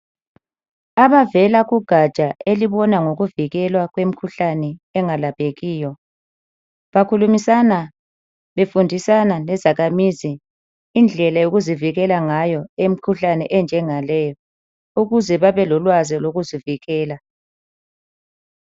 Abavela kugatsha elibona ngokuvikela kwemkhuhlane engalaphekiyo bakhulimisana befundisana lezakhamizi indlela yokuzivikela ngayo emkhuhlane enjenga leyi ukuze babe lolwazi lokuzivikela.